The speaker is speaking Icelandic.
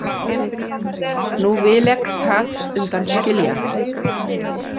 Nú vil ek þat undan skilja.